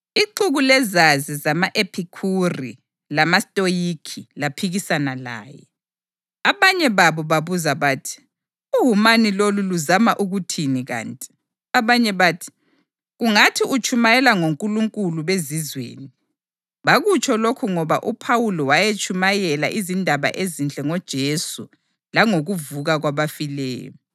Ixuku lezazi zama-Ephikhuri lamaStoyikhi laphikisana laye. Abanye babo babuza bathi, “Uwumani lolu luzama ukuthini kanti?” Abanye bathi, “Kungathi utshumayela ngonkulunkulu bezizweni.” Bakutsho lokhu ngoba uPhawuli wayetshumayela izindaba ezinhle ngoJesu langokuvuka kwabafileyo.